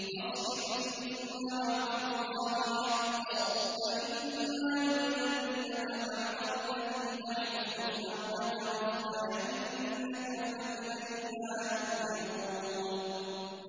فَاصْبِرْ إِنَّ وَعْدَ اللَّهِ حَقٌّ ۚ فَإِمَّا نُرِيَنَّكَ بَعْضَ الَّذِي نَعِدُهُمْ أَوْ نَتَوَفَّيَنَّكَ فَإِلَيْنَا يُرْجَعُونَ